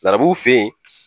Larabuw fɛ yen